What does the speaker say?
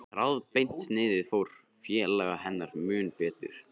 Þráðbeint sniðið fór félaga hennar mun betur.